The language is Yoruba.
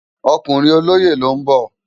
Òkúrin ólóyé ló n bò